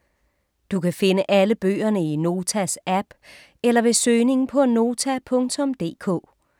Du kan finde alle bøgerne i Notas app eller ved søgning på Nota.dk